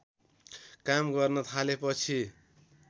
काम गर्न थालेपछि